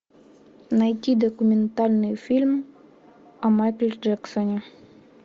найти документальный фильм о майкле джексоне